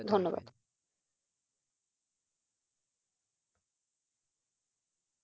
ধন্যবাদ!